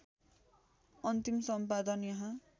अन्तिम सम्पादन यहाँ